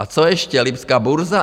A co ještě - lipská burza?